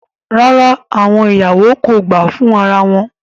Rara, awọn iyawo ko gba fun ara wọn